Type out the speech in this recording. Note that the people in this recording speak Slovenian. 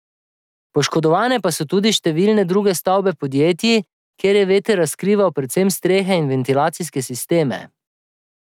Poškodovane pa so tudi številne druge stavbe podjetij, kjer je veter razkrival predvsem strehe in ventilacijske sisteme.